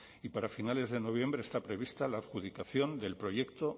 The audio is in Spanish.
y para finales de noviembre está prevista la adjudicación del proyecto